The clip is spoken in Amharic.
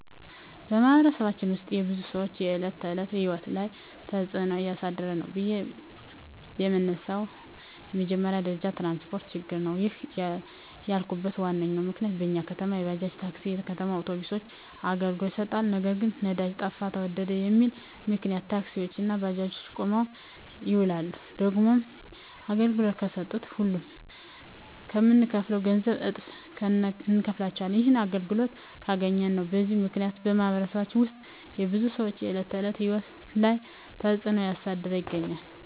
በማኅበረሰባችን ውስጥ የብዙ ሰዎች የዕለት ተዕለት ሕይወት ላይ ትጽእኖ እያሳደረ ነው ብዬ የመነሣው በመጀመሪያ ደረጃ የትራንስፓርት ችግር ነው። ይህንን ያልኩበት ዋናው ምክንያት በኛ ከተማ የባጃጅ፣ የታክሲ፣ የከተማ አውቶቢሶች አገልግሎት ይሠጣሉ። ነገር ግን ነዳጅ ጠፋ ተወደደ በሚል ምክንያት ታክሲዎች እና ባጃጆች ቁመው ይውላሉ። ደግሞም አገልግሎት ከሠጡም ሁሌ ከምንከፍለው ገንዘብ እጥፍ እነከፍላለን። ይህንንም አገልግሎቱን ካገኘን ነው። በዚህ ምክንያት በማኅበረሰባችን ውስጥ የብዙ ሰዎች የዕለት ተዕለት ሕይወት ላይ ትጽእኖ እያሳደረ ይገኛል።